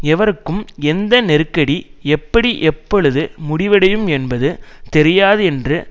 எவருக்கும் எந்த நெருக்கடி எப்படி எப்பொழுது முடிவடையும் என்பது தெரியாது என்று